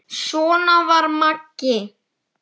Svona var Maggi.